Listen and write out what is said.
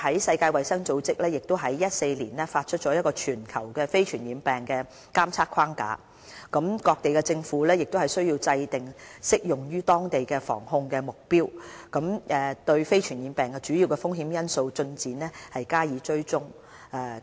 世界衞生組織在2014年發出全球非傳染病的監測框架，各地政府需要制訂適用於當地的防控目標，對非傳染病的主要風險因素進展加以追蹤。